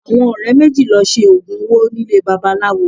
Àwọn ọ̀rẹ́ méjì lọ Se oògùn owó nílé babaláwo